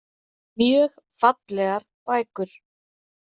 Mjög fallegar bækur.